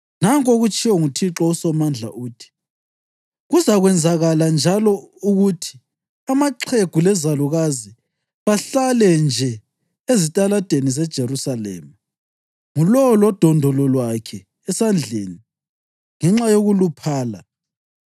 Nanku okutshiwo nguThixo uSomandla, uthi: “Kuzakwenzakala njalo ukuthi amaxhegu lezalukazi bahlale nje ezitaladini zeJerusalema, ngulowo lodondolo lwakhe esandleni ngenxa yokuluphala.